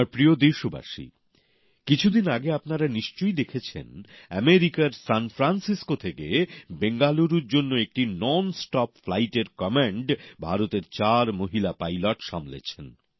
আমার প্রিয় দেশবাসী কিছুদিন আগে আপনারা নিশ্চয়ই দেখেছেন মার্কিন যুক্তরাষ্ট্রের সানফ্রান্সিসকো থেকে বেঙ্গালুরুর জন্য একটি নন স্টপ ফ্লাইটের কমান্ড ভারতের চার মহিলা পাইলট সামলেছেন